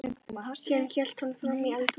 Síðan hélt hann fram í eldhús.